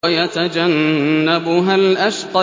وَيَتَجَنَّبُهَا الْأَشْقَى